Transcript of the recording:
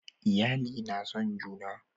iyali na son juna